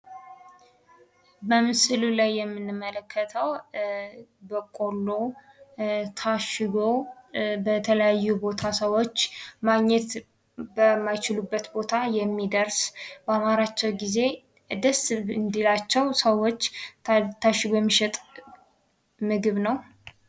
በምሥሉ ላይ የምንመለከተው በቆሎ ታሽጎ በተለያዩ ቦታ ሰዎች ማግኘት በማይችሉበት ቦታ የሚደርስ በአማራቸው ጊዜ ደስ እንዲላቸው ሰዎች ታሽጎ የሚሸጥ ምግብ ነው።